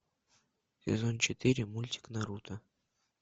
сезон четыре мультик наруто